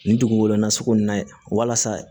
Nin dugu nin na sugu in na ye walasa